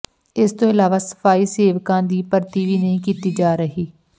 ਇਸ ਤੋਂ ਇਲਾਵਾ ਸਫ਼ਾਈ ਸੇਵਕਾਂ ਦੀ ਭਰਤੀ ਵੀ ਨਹੀਂ ਕੀਤੀ ਜਾ ਰਹੀ